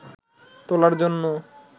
তোলার জন্য